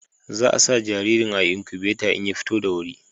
Za a sa jaririn a inkubata in ya fito da wuri